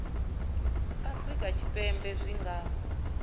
a afurika tshipembe zwi nga